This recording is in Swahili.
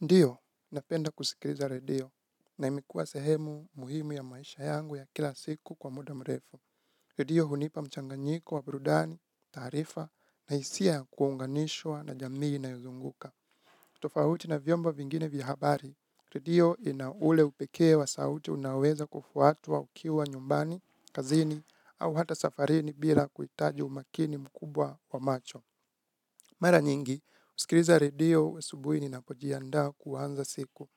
Ndio, napenda kusikiliza redio, na imikuwa sehemu muhimu ya maisha yangu ya kila siku kwa muda mrefu. Redio hunipa mchanganyiko wa burudani, taarifa, na hisia ya kuunganishwa na jamii inayozunguka. Tofahuti na vyombo vingine vya habari, redio ina ule upekee wa sauti unaoweza kufuatwa ukiwa nyumbani, kazini, au hata safarini bila kuitaji umakini mkubwa wa macho. Mara nyingi, usikiliza radio asubui ninapojiandaa kuanza siku.